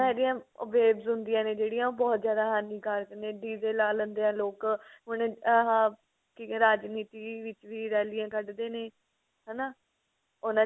ਇਹਦੀਆਂ waves ਹੁੰਦੀਆਂ ਨੇ ਜਿਹੜੀਆਂ ਉਹ ਬਹੁਤ ਜਿਆਦਾ ਹਾਨੀਕਾਰਕ ਨੇ DJ ਲਾ ਲੈਂਦੇ ਆ ਲੋਕ ਹੁਣ ਆਹ ਰਾਜਨੀਤੀ ਵਿੱਚ ਵੀ ਰੈਲੀਆਂ ਕੱਢਦੇ ਨੇ ਹਨਾ ਉਹਨਾ ਚ